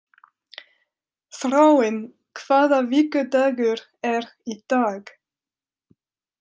Þráinn, hvaða vikudagur er í dag?